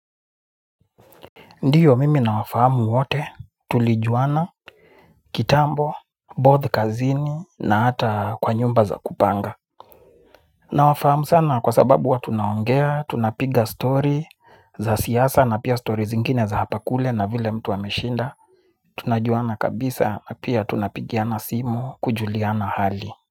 Ndiyo mimi nawafahamu wote, tulijuana, kitambo, both kazini na hata kwa nyumba za kupanga. Nawafahamu sana kwa sababu huwa tunaongea, tunapiga story za siasa na pia story zingine za hapa kule na vile mtu ameshinda. Tunajuana kabisa, pia tunapigiana simu kujuliana hali.